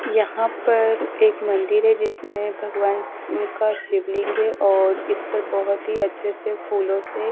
यहां पर एक मंदिर है जिसमें भगवान का शिवलिंग है और इस पर बहोत ही अच्छे से फूलों से--